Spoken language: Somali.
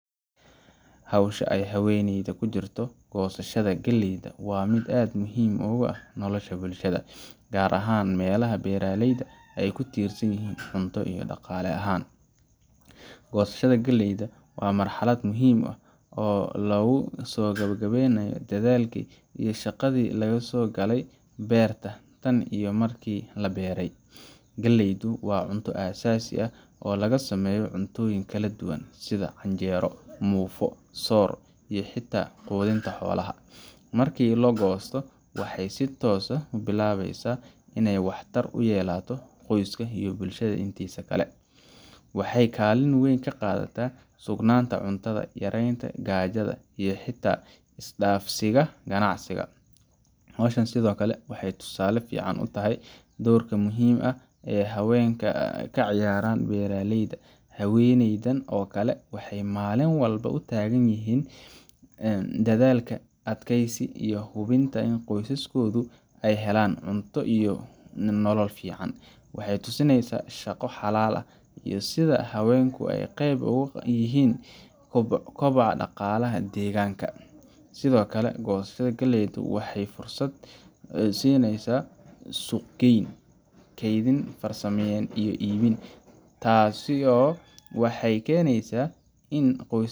Hawsha ay haweeneydani ku jirto goosashada galleyda waa mid aad muhiim ugu ah nolosha bulshada, gaar ahaan meelaha beeraleyda ay ku tiirsan yihiin cunto iyo dhaqaale ahaan. Goosashada galleyda waa marxalad muhim ah oo lagu soo gabagabeeyo dadaalkii iyo shaqadii laga soo galay beerta tan iyo markii la beeryay. Galleydu waa cunto aasaasi ah oo laga sameeyo cuntooyin kala duwan sida canjeero, muufo, soor, iyo xitaa quudinta xoolaha. Markii la goosto, waxay si toos ah u bilaabeysaa inay wax tar u yeelato qoyska iyo bulshada intiisa kale. Waxay kaalin weyn ka qaadataa sugnaanta cuntada, yareynta gaajada, iyo xitaa isdhaafsiga ganacsiga. Hawshan sidoo kale waxay tusaale fiican u tahay doorka muhiimka ah ee haweenka ka ciyaaraan beeralayda. Haweeneydan oo kale waxay maalin walba u taagan yihiin dadaal, adkaysi, iyo hubinta in qoysaskoodu ay helaan cunto iyo nolol fiican. Waxay tusinaysaa shaqo xalaal ah iyo sida haweenku ay qayb weyn uga yihiin koboca dhaqaalaha deegaanka. Sidoo kale, goosashada galleyda waxay fursad sineysa suuq geyn, kaydin, farsamayn iyo iibin. Taaasi waxay keenaysaa in.